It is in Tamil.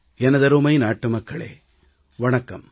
எனதருமை நாட்டு மக்களே வணக்கம்